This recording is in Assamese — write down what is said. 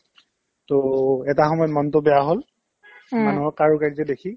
to এটা সময়ত মনতো বেয়া হ'ল মানুহৰ কাৰোকাৰ্য্য দেখি